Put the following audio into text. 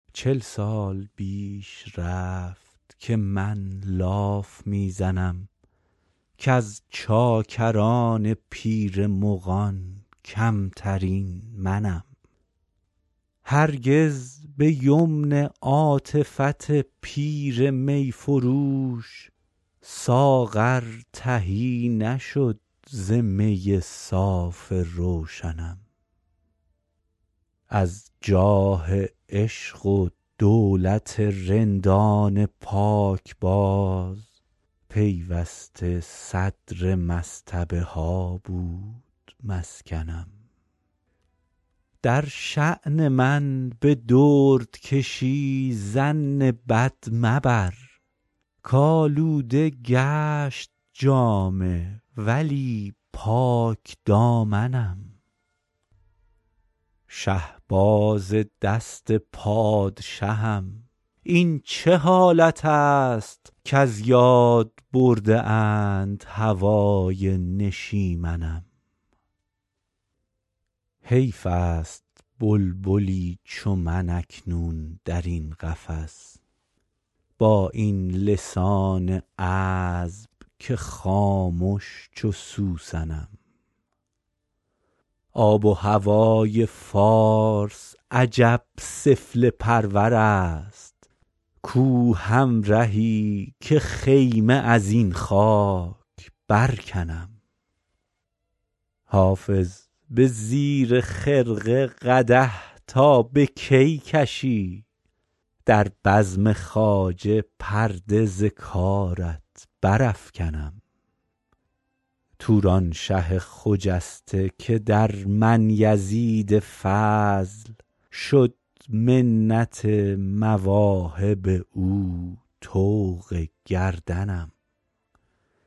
چل سال بیش رفت که من لاف می زنم کز چاکران پیر مغان کمترین منم هرگز به یمن عاطفت پیر می فروش ساغر تهی نشد ز می صاف روشنم از جاه عشق و دولت رندان پاکباز پیوسته صدر مصطبه ها بود مسکنم در شان من به دردکشی ظن بد مبر کآلوده گشت جامه ولی پاکدامنم شهباز دست پادشهم این چه حالت است کز یاد برده اند هوای نشیمنم حیف است بلبلی چو من اکنون در این قفس با این لسان عذب که خامش چو سوسنم آب و هوای فارس عجب سفله پرور است کو همرهی که خیمه از این خاک برکنم حافظ به زیر خرقه قدح تا به کی کشی در بزم خواجه پرده ز کارت برافکنم تورانشه خجسته که در من یزید فضل شد منت مواهب او طوق گردنم